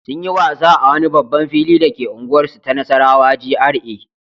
Sun yi wasa a wani babban fili dake unguwarsu ta Nassarawa GRA.